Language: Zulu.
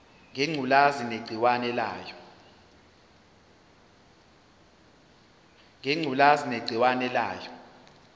ngengculazi negciwane layo